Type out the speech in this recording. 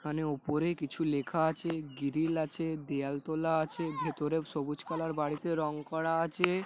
এখানে ওপরে কিছু লেখা আছে গিরিল আছে দেয়াল তোলা আছে ভেতরে সবুজ কালার এর বাড়িতে রং করা আছে--